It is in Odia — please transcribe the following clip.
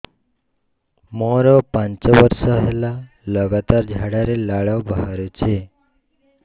ମୋରୋ ପାଞ୍ଚ ବର୍ଷ ହେଲା ଲଗାତାର ଝାଡ଼ାରେ ଲାଳ ବାହାରୁଚି